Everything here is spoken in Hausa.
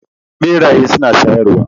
Beraye suna shayarwa.